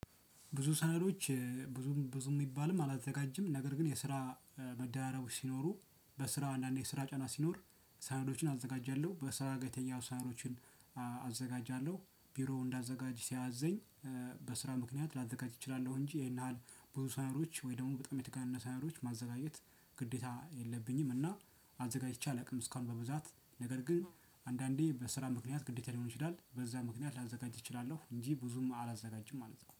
ብዙ ሰነዶች ብዙም ብዙም የሚባልም አላዘጋጅም ነገር ግን የስራ መደራረቦች ሲኖሩ በስራ አንዳንዴ ስራ ጫና ሲኖር ሰነዶችን አዘጋጃለሁ በስራ ጋር የተያያዙ ሰነዶችን አዘጋጃለሁ ቢሮውን እንዳዘጋጅ ሲያዘኝ በስራ ምክንያት ላዘጋጅ እችላለሁ። እንጂ ይሄን ያህል ብዙ ሰነዶች ወይ ደግሞ በጣም የተጋነነ ሰነዶች ማዘጋጀት ግዴታ የለብኝም። እና አዘጋጅቼ አላውቅም እስካሁን። በብዛት ነገር ግን አንዳንዴ በስራ ምክንያት ግዴታ ሊሆን ይችላል በዛ ምክንያት ላዘጋጅ እችላለሁ። እንጂ ብዙም አላዘጋጅም ማለት ነው።